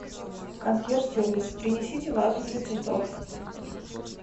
консьерж сервис принесите вазу для цветов